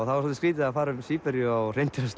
það var skrýtið að fara um Síberíu á hreindýrasleða